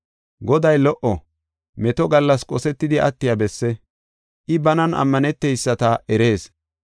Goday lo77o; meto gallas qosetidi attiya besse; I banan ammaneteyisata erees.